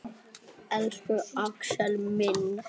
Elsku Axel minn.